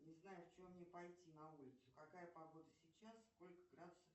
не знаю в чем мне пойти на улицу какая погода сейчас сколько градусов